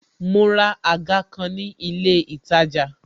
Mo ra àga kan ni ilé itaja